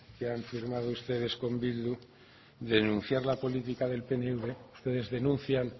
que han firmado ustedes con bildu denunciar la política del pnv ustedes denuncian